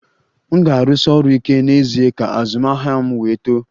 M ga-arụsi ọrụ ike n'ezie ka azụmahịa m wee too